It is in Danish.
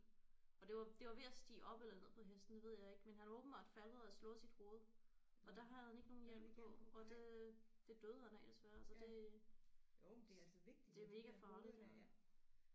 Og det var det var ved at stige op eller ned på hesten det ved jeg ikke men han åbenbart faldet og havde slået sit hoved og der havde han ikke nogen hjelm på og det det døde han af desværre så det det er mega farligt ja